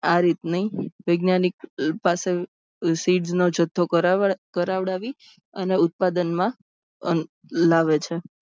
આ રીતની વૈજ્ઞાનિક પાસે sids નો જથ્થો કરાવડાવી અને ઉત્પાદનમાં લાવે છે.